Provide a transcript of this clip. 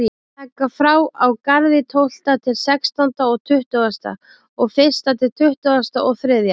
Taka frá á Garði tólfta til sextánda og tuttugasta og fyrsta til tuttugasta og þriðja.